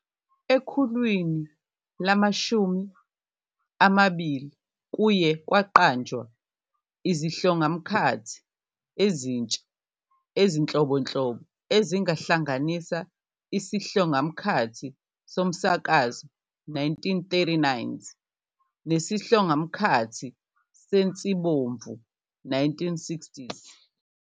Ekhulwini lama-20, kuye kwaqanjwa izihlongamkhathi ezintsha ezinhlobonhlobo, ezihlanganisa isihlongamkhathi somsakazo, 1939's, nesihlongamkhathi sensibomvu, 1960's.